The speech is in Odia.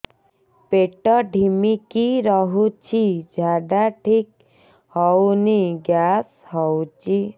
ପେଟ ଢିମିକି ରହୁଛି ଝାଡା ଠିକ୍ ହଉନି ଗ୍ୟାସ ହଉଚି